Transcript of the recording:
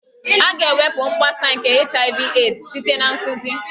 A ga-ewepụ mgbasa nke HIV/AIDS site na nkụzi